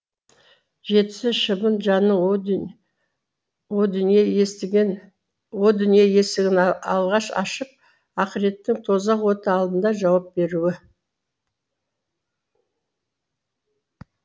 жетісі шыбын жанның о дүние есігін алғаш ашып ақыреттің тозақ оты алдында жауап беруі